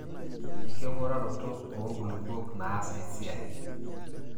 enking'uraroto oo nkulupuok naas esiai.